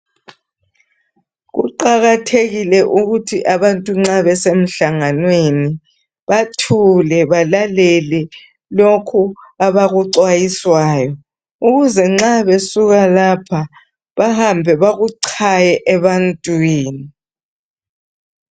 Kuqakathekile ukuthi abantu nxa besemhlanganweni bathule balalele lokhu abakuxwayiswayo ukuze nxa besuka lapha bahambe bakuchaye ebantwini.